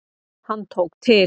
Hann tók til.